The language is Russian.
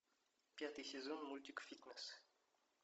пятый сезон мультик фитнес